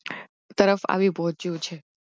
તરફ આવી પહોચ્યો છે